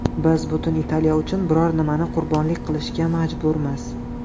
Biz butun Italiya uchun biror nimani qurbonlik qilishga majburmiz.